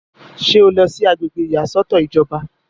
ṣé o lọ sí agbègbè ìyàsọ́tọ̀ ìjọba?